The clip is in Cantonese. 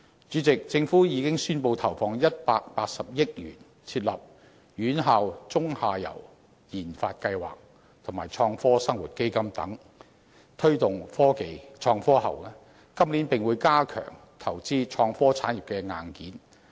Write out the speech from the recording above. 主席，政府已宣布投放180億元，通過設立"院校中游研發計劃"及"創科生活基金"等措施推動創科，今年並會加強投資創科產業的硬件。